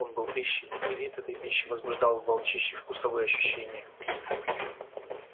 он был пищей и вид этой пищи возбуждал в волчище вкусовые ощущения